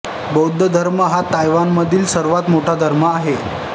बौद्ध धर्म हा तैवानमधील सर्वात मोठा धर्म आहे